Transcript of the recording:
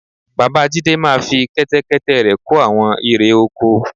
Bàbá Jídé máa fi Kẹ́tẹ́kẹ́tẹ́ rẹ̀ kó àwọn irè oko